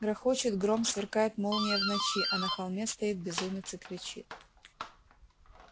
грохочет гром сверкает молния в ночи а на холме стоит безумец и кричит